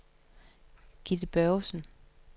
Gitte Børgesen